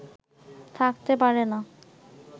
থাকতে পারে না